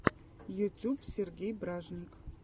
ютюб сергей бражник